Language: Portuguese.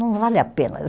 Não vale a pena.